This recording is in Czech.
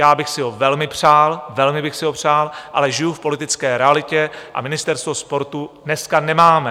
Já bych si ho velmi přál, velmi bych si ho přál, ale žiju v politické realitě a ministerstvo sportu dneska nemáme.